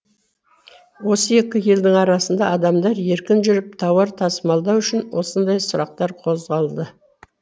осы екі елдің арасында адамдар еркін жүріп тауар тасымалдау үшін осындай сұрақтар қозғалды